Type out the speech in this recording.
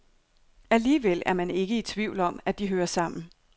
Alligevel er man ikke i tvivl om, at de hører sammen.